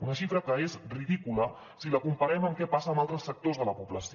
una xifra que és ridícula si la comparem amb què passa amb altres sectors de la població